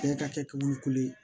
Bɛɛ ka kɛbolo ko ye